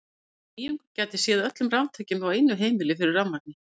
Þessi nýjung gæti séð öllum raftækjum á einu heimili fyrir rafmagni.